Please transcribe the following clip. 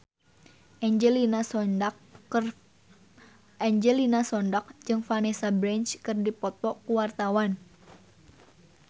Angelina Sondakh jeung Vanessa Branch keur dipoto ku wartawan